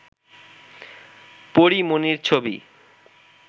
পরী মনির ছবি